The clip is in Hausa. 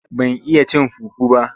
Ban iya cin fufu ba,